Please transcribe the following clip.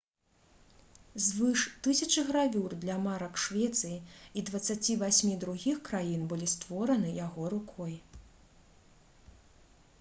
звыш 1000 гравюр для марак швецыі і 28 другіх краін былі створаны яго рукой